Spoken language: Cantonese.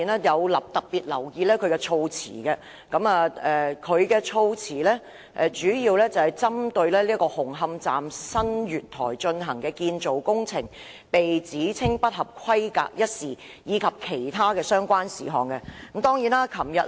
我特別留言議案的措辭，主要是針對紅磡站新月台進行的建造工程被指稱不合規格一事，以及其他的相關事項。